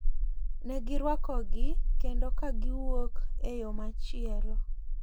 Ne girwakogi kendo ka giwuok e yo machielo.